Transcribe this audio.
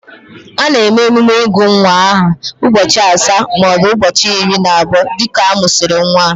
A na-eme emume ịgụ nwa aha ụbọchị asaa maọbụ ụbọchị iri na abụọ dịka a mụsịrị nwa